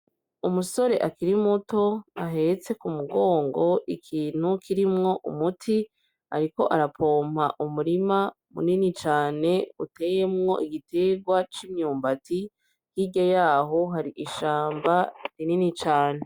Umusore akiri muto ahetse ku mugongo ikintu kirimwo umuti ariko arapompa umurima munini cane uteyemwo igitegwa c'imyumbati, hirya yaho hari ishamba rinini cane.